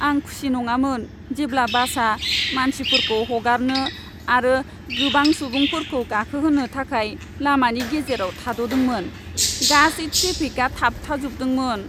आं खुसि नङामोन जेब्ला बासआ मानसिफोरखौ हगारनो आरो गोबां सुबुंफोरखौ गाखोहोनो थाखाय लामानि गेजेराव थाद'दोंमोन। गासै ट्रेफिका थाबथाजोबदोंमोन।